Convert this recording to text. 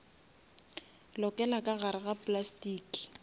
lokela ka gare ga plastiki